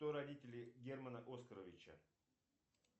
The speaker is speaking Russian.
кто родители германа оскаровича